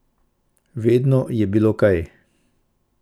Vedno je bilo kaj!